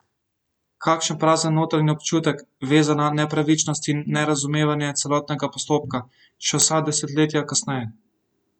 Kakšen prazen notranji občutek, vezan na nepravičnost in nerazumevanje celotnega postopka, še vsa desetletja kasneje!